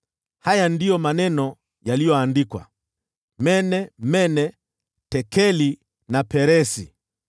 “Haya ndiyo maneno yaliyoandikwa: mene, mene, tekeli na peresi